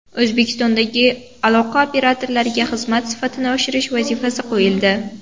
O‘zbekistondagi aloqa operatorlariga xizmat sifatini oshirish vazifasi qo‘yildi.